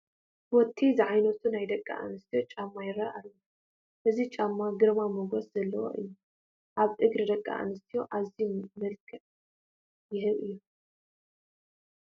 ቦቴ ዝዓይነቱ ናይ ደቂ ኣንስትዮ ጫማ ይርአ ኣሎ፡፡ እዚ ጫማ ግርማ ሞገስ ዘለዎ እዩ፡፡ ኣብ እግሪ ደቂ ኣንስትዮ ኣትዩ መልክዕ ዝህብ እዩ፡፡